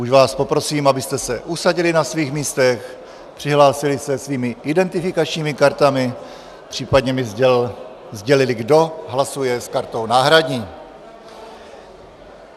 Už vás poprosím, abyste se usadili na svých místech, přihlásili se svými identifikačními kartami, případně mi sdělili, kdo hlasuje s kartou náhradní.